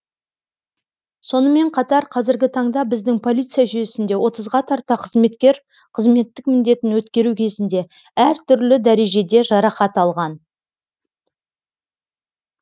сонымен қатар қазіргі таңда біздің полиция жүйесінде отызға тарта қызметкер қызметтік міндетін өткеру кезінде әр түрлі дәрежеде жарақат алған